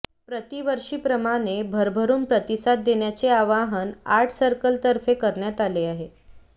प्रतिवर्षीप्रमाणे भरभरून प्रतिसाद देण्याचे आवाहन आर्ट सर्कलतर्फे करण्यात आले आहे